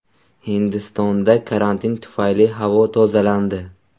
Hindistonda karantin tufayli havo tozalandi.